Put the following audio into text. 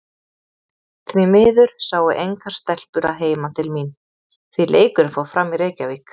Því miður sáu engar stelpur að heiman til mín, því leikurinn fór fram í Reykjavík.